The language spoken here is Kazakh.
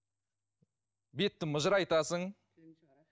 бетті мыжырайтасың